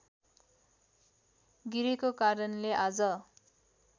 गिरेको कारणले आज